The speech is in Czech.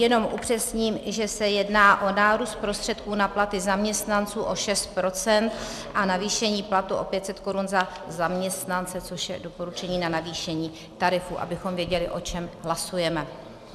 Jenom upřesním, že se jedná o nárůst prostředků na platy zaměstnanců o 6 % a navýšení platů o 500 Kč za zaměstnance, což je doporučení na navýšení tarifů, abychom věděli, o čem hlasujeme.